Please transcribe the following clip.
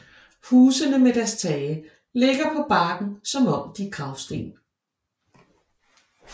Husene med deres tage ligger på bakken som om de er gravsten